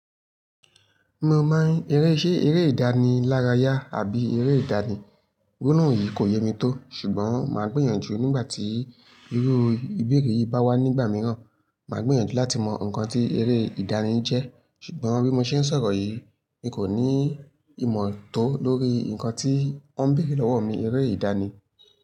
Mo mọ eré, ṣe eré ìdánilárayá àbí eré ìdánì? Gbolohun yìí kò yé mi tó ṣùgbọ́n màá gbìyànjú nígbà tí iru ìbéèrè yìí bá wá nígbà mìíràn. Màá gbìyànjú láti mọ nǹkan tí eré ìdánì jẹ́ ṣùgbọ́n bí mo ṣe ń sọ̀rọ̀ yìí, mi kò ní ìmọ̀ tó lórí nǹkan tí wọ́n ń béèrè lọ́wọ́ mi, eré ìdánì.